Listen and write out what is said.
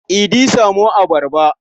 Idi samo abarba.